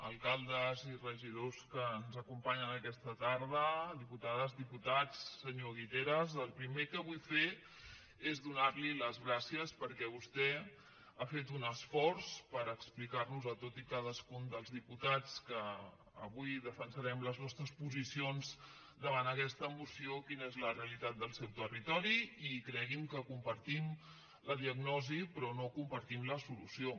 alcaldes i regidors que ens acompanyen aquesta tarda diputades diputats senyor guiteras el primer que vull fer és donarli les gràcies perquè vostè ha fet un esforç per explicarnos a tots i cadascun dels diputats que avui defensarem les nostres posicions davant aquesta moció quina és la realitat del seu territori i cregui’m que compartim la diagnosi però no compartim la solució